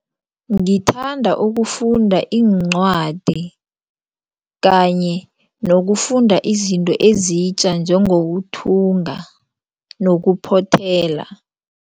Ngithanda ukufunda iincwadi kanye nokufunda izinto ezitja njengokuthunga nokuphothela.